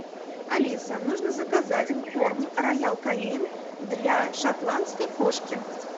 алиса нужно заказать корм роял канин для шотландской кошки